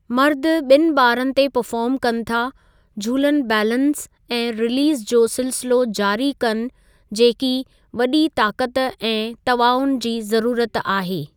मर्दु ॿिनि बारनि ते परफ़ार्म कनि था झूलन बैलंस ऐं रिलीज़ जो सिलसिलो जारी कनि जेकी वॾी ताक़त ऐं तआवुन जी ज़रूरत आहे।